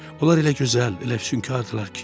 Onlar elə gözəl, elə füsunkardırlar ki.